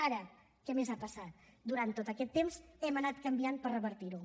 ara què més ha passat durant tot aquest temps hem anat canviant per revertir ho